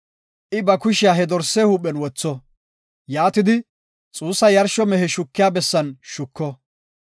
I ba kushiya he dorse huuphen wotho; yaatidi, xuussa yarsho mehe shukiya bessan shuko.